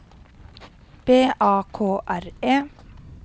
B A K R E